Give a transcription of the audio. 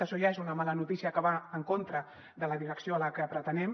això ja és una mala notícia que va en contra de la direcció a la que pretenem